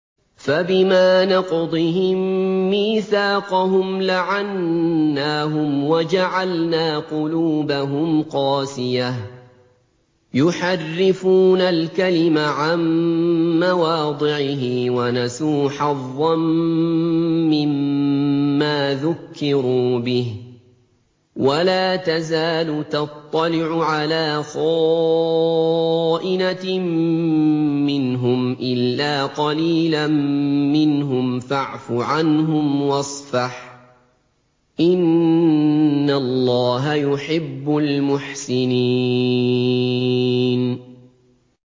فَبِمَا نَقْضِهِم مِّيثَاقَهُمْ لَعَنَّاهُمْ وَجَعَلْنَا قُلُوبَهُمْ قَاسِيَةً ۖ يُحَرِّفُونَ الْكَلِمَ عَن مَّوَاضِعِهِ ۙ وَنَسُوا حَظًّا مِّمَّا ذُكِّرُوا بِهِ ۚ وَلَا تَزَالُ تَطَّلِعُ عَلَىٰ خَائِنَةٍ مِّنْهُمْ إِلَّا قَلِيلًا مِّنْهُمْ ۖ فَاعْفُ عَنْهُمْ وَاصْفَحْ ۚ إِنَّ اللَّهَ يُحِبُّ الْمُحْسِنِينَ